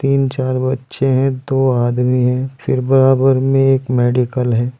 तीन चार बच्चे हैं दो आदमी है फिर बराबर में एक मेडिकल है।